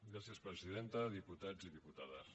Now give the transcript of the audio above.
gràcies presidenta diputats i diputades